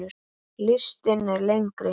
Listinn er lengri.